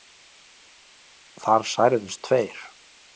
Þar særðust tveir